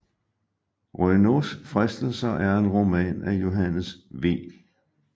Renaults Fristelser er en roman af Johannes V